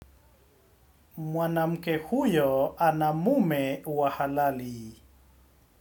Mwanamke huyo ana mume wa halali.